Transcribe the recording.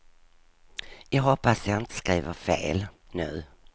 Jag hoppas jag inte skriver fel nu.